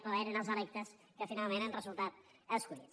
o eren els electes que finalment han resultat escollits